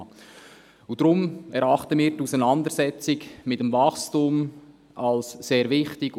Deshalb erachten wir die Auseinandersetzung mit dem Wachstum als sehr wichtig.